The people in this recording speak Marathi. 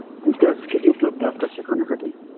Teachers किती उपलब्ध आसातात शिकवण्यासाठी